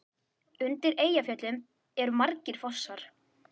Undir Eyjafjöllum eru margir fossar.